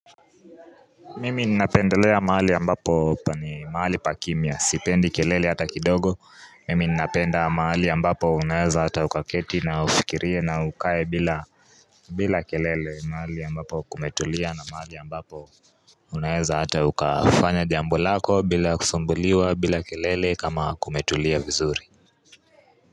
Mimi ninapendelea maali ambapo ni maali pa kimia, sipendi kelele hata kidogo, mimi ninapenda maali ya mbapo unaeza hata ukaketi na ufikirie na ukae bila kelele maali ya ambapo kumetulia na maali ya ambapo Unaeza hata ukafanya jambo lako bila kusumbuliwa bila kelele kama kumetulia vizuri.